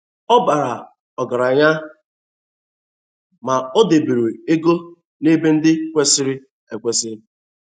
Ọ bara ọgaranya, ma o debere ego n'ebe ndi kwesịrị ekwesị.